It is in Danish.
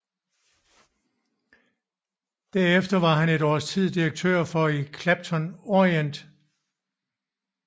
Derefter var han et års tid direktør for i Clapton Orient